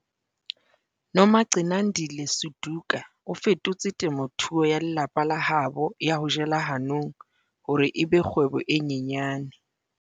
Nomagcinandile Suduka o fetotse temothuo ya lelapa la habo ya ho jela hanong hore e be kgwebo e nyenyane.